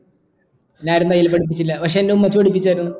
എന്നെ ആരും തയ്യൽ പഠിപ്പിച്ചില്ല പക്ഷേ എന്റെ ഉമ്മച്ചി പഠിപ്പിച്ചിരുന്നു